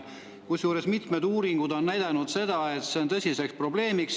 Samas on mitmed uuringud näidanud, et see on tõsine probleem.